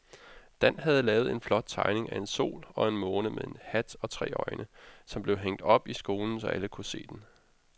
Dan havde lavet en flot tegning af en sol og en måne med hat og tre øjne, som blev hængt op i skolen, så alle kunne se den.